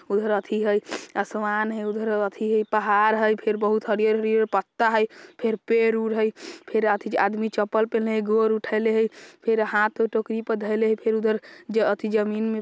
उधर एथी हई आसमान हई उधर येथी हई पहाड़ हई फेर बहुत हरियर-हरियर पत्ता हई पेड़ उड हई फेर आदमी एथी चप्पल पेहनले हई गोड़ उठएले हई फिर हाथ पे टोकरी धइले हई फिर उधर फिर एथी जमीन में --